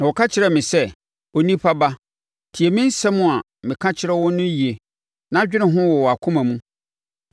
Na ɔka kyerɛɛ me sɛ, “Onipa ba, tie me nsɛm a meka kyerɛ wo no yie na dwene ho wɔ wʼakoma mu.